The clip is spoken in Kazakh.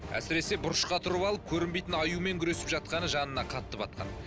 әсіресе бұрышқа тұрып алып көрінбейтін аюмен күресіп жатқаны жанына қатты батқан